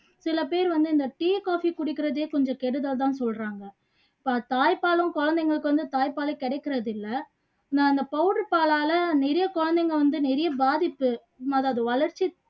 சில பேர் வந்து இந்த tea coffee குடிக்கிறதே கொஞ்சம் கெடுதல் தான்னு சொல்றாங்க பா தாய்ப்பாலும் குழந்தைங்களுக்கு வந்து தாய்ப்பாலே கிடைக்குறது இல்ல நான் அந்த powder பாலால நிறைய குழந்தைங்க வந்து நிறைய பாதிப்பு அதாவது வளர்ச்சி